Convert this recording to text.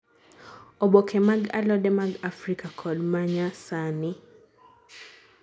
oboke mag alode mag africa kod manyasani